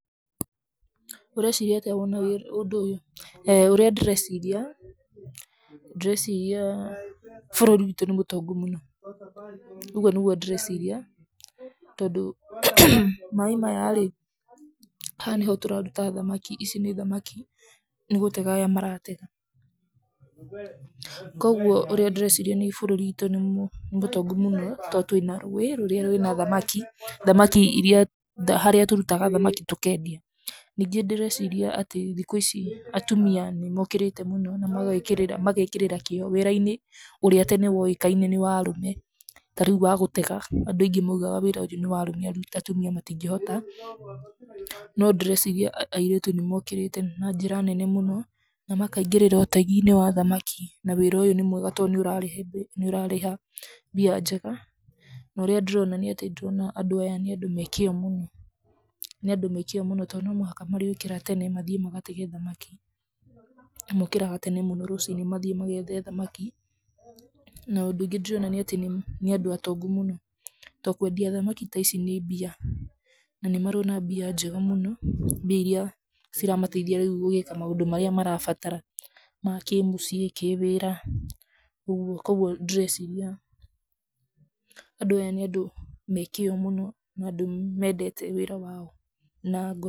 Ũreciria atĩa woona wĩ ũndũ ũyũ? eeh ũrĩa ndĩreciria, ndĩreciria, bũrũri witũ nĩ mũtongu mũno, ũguo nĩguo ndĩreciria, tondũ maĩ maya-rĩ, haha nĩho tũraruta thamaki, ici nĩ thamaki, nĩgũtega aya maratega, koguo ũrĩa ndĩreciria nĩ bũrũri witũ nĩ mũtongu mũno to twĩ na rũĩ, rũrĩa rwĩ na thamaki, thamaki irĩa, harĩa tũrutaga thamaki tũkendia, ningĩ ndĩreciria atĩ thikũ ici atumia nĩmokĩrĩte mũno na magekĩrĩra magekĩrĩra kĩo wĩra-inĩ, ũrĩa tene woĩkaine nĩ wa arũme, ta rĩu wa gũtega, andũ aingĩ maugaga wĩra ũyũ nĩ wa arũme atumia matingĩhota, no ndĩreciria airĩtu nĩmokĩrĩte na njĩra nene mũno, na makaingĩrĩra ũtegi-inĩ wa thamaki, na wĩra ũyũ nĩ mwega to nĩũrarehe nĩũrarĩha mbia njega, no rĩa ndĩrona nĩ atĩ nĩndĩrona andũ aya nĩ andũ me kĩo mũno, nĩ andũ me kĩo mũno to no mũhaka marĩũkĩra tene mathiĩ magatege thamaki, na mokĩraga tene mũno rũci-inĩ mathiĩ magethe thamaki, na ũndũ ũngĩ ndĩrona nĩ atĩ nĩ andũ atongu mũno, to kwendia thamaki ta ici nĩ mbia, na nĩmarona mbia njega mũno, mbia iria ciramateithia rĩu gũgĩka maũndũ marĩa marabatara ma kĩ mũciĩ, kĩ wĩra, ũguo, koguo ndĩreciria, andũ aya nĩa ndũ me kĩo mũno na andũ mendete wĩra wao nango...